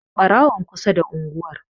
Ɓarawon kusa da unguwar.